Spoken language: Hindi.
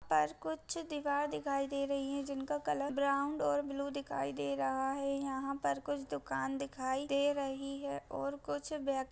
पर कुछ दीवार दिखाई दे रही है जिनका कलर ब्राउन और बालू दिखाई दे रहा है यहाँ पर कुछ दुकान दिखाई दे रही है और कुछ बे --